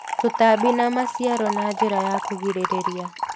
Tũtambi na maciaro na njĩra ya kũgirĩrĩria